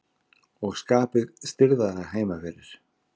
Og skapið stirðara heima fyrir.